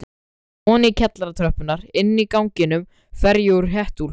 Oní kjallaratröppurnar, Inní ganginum fer ég úr hettuúlpunni.